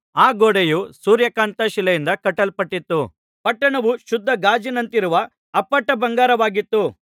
ಆ ಗೋಡೆಯು ಸೂರ್ಯಕಾಂತ ಶಿಲೆಯಿಂದ ಕಟ್ಟಲ್ಪಟ್ಟಿತ್ತು ಪಟ್ಟಣವು ಶುದ್ಧ ಗಾಜಿನಂತಿರುವ ಅಪ್ಪಟ ಬಂಗಾರವಾಗಿತ್ತು